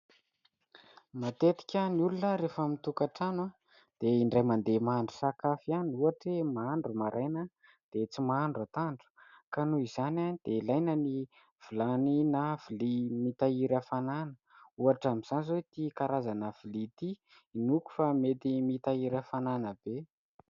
Matetika ny olona rehefa mitokatrano dia indray mande mahandro sakafo ihany ; ohatra mahandro maraina dia tsy mahandro atoandro, ka noho izany dia ilaina ny vilany na lovia mitahiry hafanana ohatra amin'izany izao ity karazana lovia ity hinoako fa mety mitahiry hafanana be.